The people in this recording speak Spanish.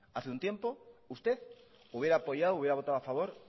hace un tiempo usted hubiera apoyado hubiera votado a favor